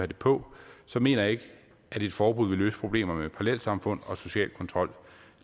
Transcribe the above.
det på mener jeg ikke at et forbud vil løse problemerne med parallelsamfund og social kontrol